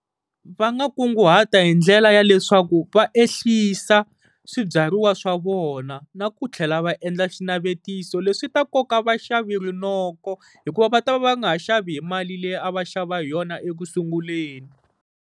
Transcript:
Va nga kunguhata hi ndlela ya leswaku va ehlisa swibyariwa swa vona, na ku tlhela va endla xinavetiso leswi ta nkoka vaxavi rinoko, hikuva va ta va va nga ha xavi hi mali leyi a va xava hi yona eku sunguleni.